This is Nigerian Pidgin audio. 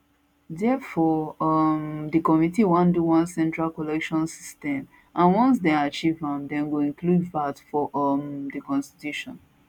therefore um di committee wan do one central collection system and once dem achieve am dem go include vat for um di constitution